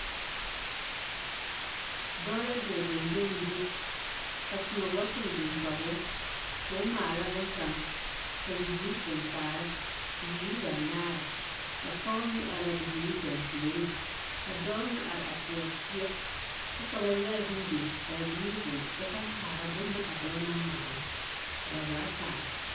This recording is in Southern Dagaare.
Dɔɔ la dɔɔ gyoŋgyoleŋgyo ka koɔ bottle biŋ kɔge o ka o maala bonne kaŋ ka bibiiri zeŋ kaara bibiiri banaare ka pɔge meŋ are a bibiiri dampuoreŋ ka dɔɔ meŋ are a teɛ o seɛ kyɛ ka ba yɛre bonne biŋ ka a biiri meŋ zeŋ kyɛ ka kaara a bonne a dɔɔ naŋ maala ka ba zaa kaara.